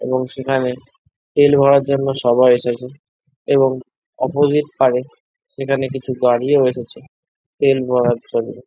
এবং সেখানে তেল ভরার জন্য সবাই এসেছে এবং অপোজিট পারে সেখানে কিছু গাড়িও এসেছে তেল ভরার জন্য।